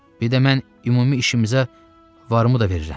Bir də mən ümumi işimizə varımı da verirəm.